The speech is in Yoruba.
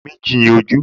Méjì ni ojú